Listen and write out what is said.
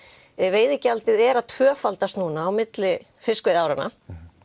veiðigjaldið er að tvöfaldast núna á milli fiskveiðiáranna